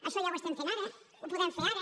això ja ho fem ara ho podem fer ara